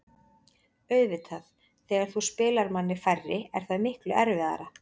Auðvitað, þegar þú spilar manni færri er það miklu erfiðara.